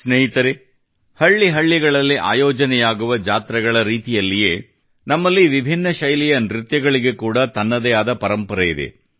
ಸ್ನೇಹಿತರೇ ಹಳ್ಳಿ ಹಳ್ಳಿಗಳಲ್ಲಿ ಆಯೋಜನೆಯಾಗುವ ಜಾತ್ರೆಗಳ ರೀತಿಯಲ್ಲಿಯೇ ನಮ್ಮಲ್ಲಿ ವಿಭಿನ್ನ ಶೈಲಿಯ ನೃತ್ಯಗಳಿಗೆ ಕೂಡಾ ತನ್ನದೇ ಆದ ಪರಂಪರೆ ಇದೆ